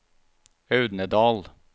Audnedal